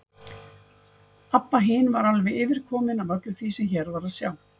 Abba hin var alveg yfirkomin af öllu því sem hér var að sjá.